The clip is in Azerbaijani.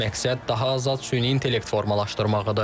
Məqsəd daha azad süni intellekt formalaşdırmaq idi.